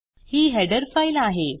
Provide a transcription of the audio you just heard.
ही header file आहे